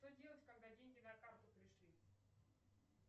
что делать когда деньги на карту пришли